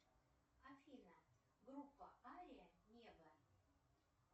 афина группа ария небо